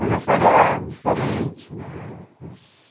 Hoje eu faria diferente, né?